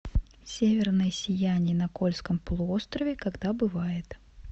северное сияние на кольском полуострове когда бывает